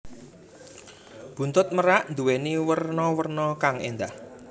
Buntut merak nduwèni werna werna kang éndah